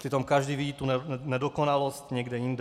Přitom každý vidí tu nedokonalost někde jinde.